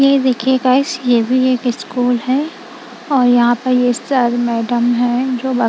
ये देखिए गाइस ये भी एक स्कूल है और यहां पर ये सर मैडम है जो --